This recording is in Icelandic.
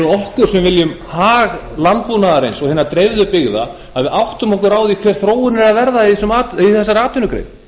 okkur sem viljum hag landbúnaðarins og hinna dreifðu byggða að við áttum okkur á því hver þróunin er að verða í þessari atvinnugrein